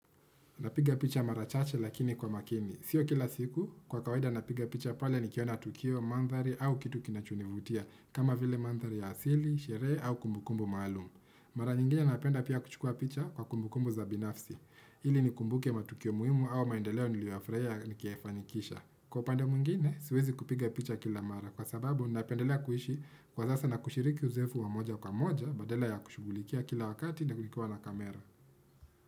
Napiga picha mara chache lakini kwa makini. Sio kila siku, kwa kawaida napiga picha pale nikiona tukio, mandhari au kitu kinachonivutia kama vile mandhari ya asili, sherehe au kumbukumbu maalumu. Mara nyingine napenda pia kuchukua picha kwa kumbukumbu za binafsi. Ili nikumbuke matukio muhimu au maendeleo niliyoyafurahia nikiyafanikisha. Kwa upande mwingine, siwezi kupiga picha kila mara. Kwa sababu, napendelea kuishi kwasasa na kushiriki uzoefu wa moja kwa moja badala ya kushughulikia kila wakati na kulikuwa na kamera.